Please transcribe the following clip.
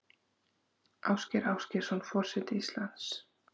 Ásgeir Ásgeirsson forseti Íslands